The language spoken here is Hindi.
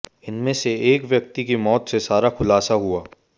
इनमें से एक व्यक्ति की मौत से सारा खुलासा हुआ